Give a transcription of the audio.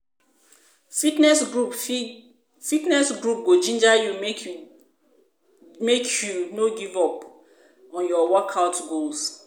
Fitness groups go ginger you make you make you no give up on your workout goals.